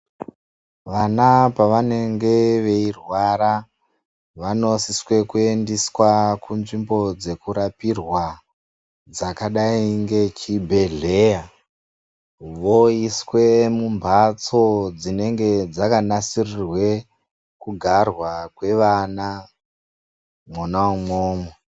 Vana pavanenge veirwara vanosiswe kuendeswa kunzvimbo dzekurapirwa dzakadai ngechibhedhleya voiswe mumbatso dzinenge dzakanasirirwe kugarwa kwevana mwona umwomwo.